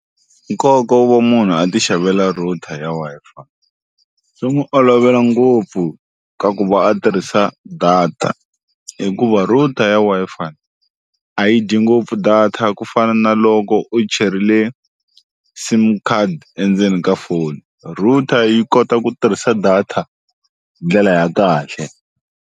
Nkoka wo va munhu a ti xavela router ya Wi-Fi swi n'wu olovela ngopfu ka ku va a tirhisa data hikuva router ya Wi-Fi a yi dyi ngopfu data ku fana na loko u cherile sim card endzeni ka foni router yi kota ku tirhisa data hi ndlela ya kahle.